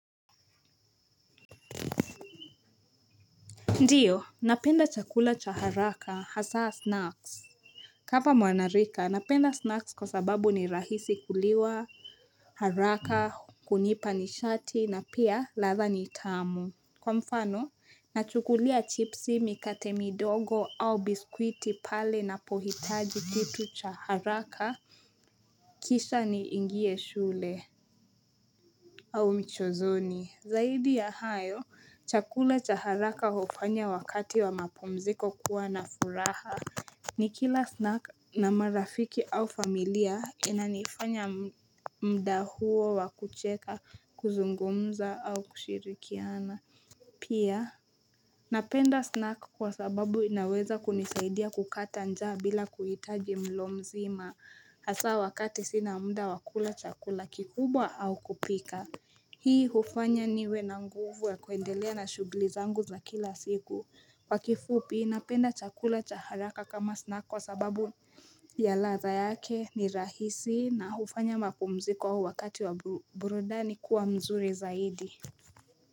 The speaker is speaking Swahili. Ndiyo napenda chakula cha haraka hasaa snacks kama mwanarika napenda snacks kwa sababu ni rahisi kuliwa haraka, kunipa nishati na pia ladha ni tamu. Kwa mfano nachukulia chipsi, mikate midogo au biskwiti pale napohitaji kitu cha haraka Kisha niingie shule au mchezoni, zaidi ya hayo, chakula cha haraka hufanya wakati wa mapumziko kuwa na furaha Nikila snack na marafiki au familia inanifanya muda huo wa kucheka, kuzungumza au kushirikiana Pia, napenda snack kwa sababu inaweza kunisaidia kukata njaa bila kuhitaji mlo mzima. Hasa wakati sina muda wa kula chakula kikubwa au kupika Hii hufanya niwe na nguvu ya kuendelea na shughuli zangu za kila siku Kwa kifupi, napenda chakula cha haraka kama snack kwa sababu ya ladha yake, ni rahisi na hufanya mapumziko wakati wa burudani kuwa mzuri zaidi.